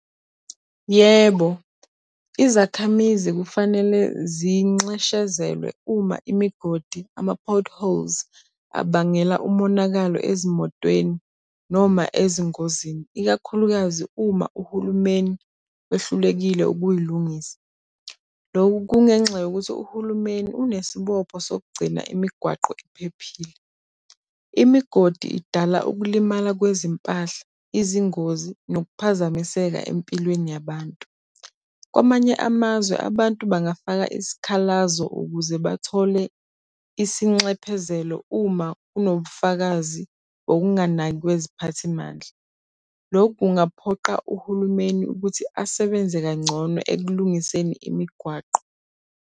Yebo, izakhamizi kufanele zinxeshezelwe uma imigodi, ama-potholes, abangela umonakalo ezimotweni noma ezingozini, ikakhulukazi uma uhulumeni wehlulekile ukuyilungisa. Lokhu kungenxa yokuthi uhulumeni unesibopho sokugcina imigwaqo iphephile. Imigodi idala ukulimala kwezimpahla, izingozi, nokuphazamiseka empilweni yabantu. Kwamanye amazwe abantu bangafaka isikhalazo ukuze bathole isinxephezelo uma kunobufakazi ngokunganaki kweziphathimandla. Loku kungaphoqa uhulumeni ukuthi asebenze kangcono ekulungiseni imigwaqo.